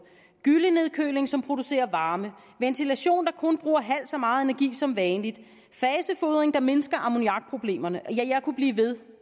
gyllenedkøling som producerer varme ventilation der kun bruger halvt så meget energi som vanligt fasefodring der mindsker ammoniakproblemerne ja jeg kunne blive ved